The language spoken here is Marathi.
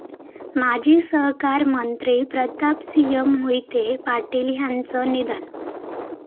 माजी सहकार मंत्री प्रतापसिंह मोहिते पाटील यांचं निधन